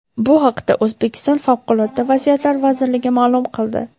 Bu haqda O‘zbekiston Favqulodda vaziyatlar vazirligi ma’lum qildi.